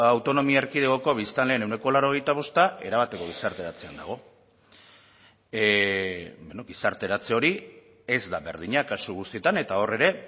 autonomia erkidegoko biztanleen ehuneko laurogeita bosta erabateko gizarteratzean dago bueno gizarteratze hori ez da berdina kasu guztietan eta hor ere